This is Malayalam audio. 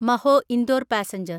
മഹോ ഇന്ദോർ പാസഞ്ചർ